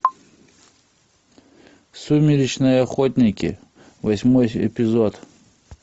сумеречные охотники восьмой эпизод